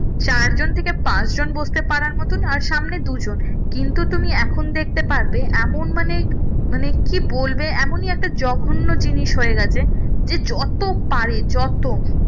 চার জন থেকে পাঁচ জন বসতে পারার মতন আর সামনে দু জন কিন্তু তুমি এখন দেখতে পারবে এমন মানে মানে কি বলবে এমনই একটা জঘন্য জিনিস হয়ে গেছে যে যত পারে যত